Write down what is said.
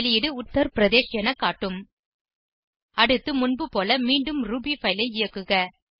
வெளியீடு உத்தர் பிரதேஷ் என காட்டும் அடுத்து முன்புபோல மீண்டும் ரூபி பைல் ஐ இயக்குக